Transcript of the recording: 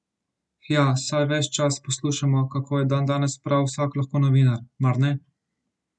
Hja, saj ves čas poslušamo, kako je dandanes prav vsak lahko novinar, mar ne?